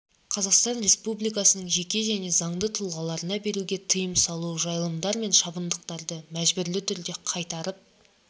қазақстан республикасының жеке және заңды тұлғаларына беруге тыйым салу жайылымдар мен шабындықтарды мәжбүрлі түрде қайтарып